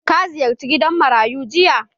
Ka ziyarce gidan marayu jiya?